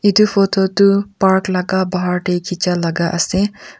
eto photo toh park laga pahar teh kecha laga ase .